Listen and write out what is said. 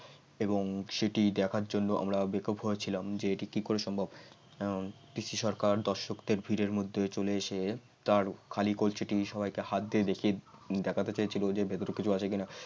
এবং সেটি দেখার জন্য আমরা বেকাব হয়েছিলাম যে এটি কি করে সম্ভব কারণ পিসি সরকার দর্শকদের ভিড়ের মধ্যে চলে এসে তার খালি কলসিটি সবাইকে হাত দিয়ে দেখিয়ে দেখাতে চেয়েছিল যে ভিতরে আছে কিনা